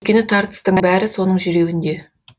өйткені тартыстың бәрі соның жүрегінде